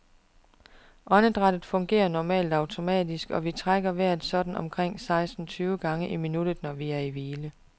Åndedrættet fungerer normalt automatisk, og vi trækker vejret sådan omkring seksten tyve gange i minuttet, når vi er i hvile.